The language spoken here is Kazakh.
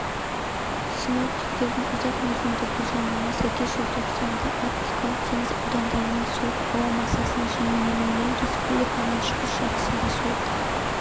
синоптиктердің ұзақ мерзімді болжамына сәйкесжелтоқсандаарктикалық теңіз аудандарынан суық ауа массасының жиі енуінен республиканың шығыс жартысында суық